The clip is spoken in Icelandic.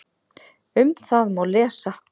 Um það má lesa